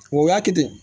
Wa o y'a kɛ ten